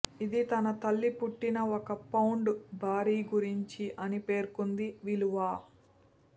ఇది తన తల్లి పుట్టిన ఒక పౌండ్ భారీ గురించి అని పేర్కొంది విలువ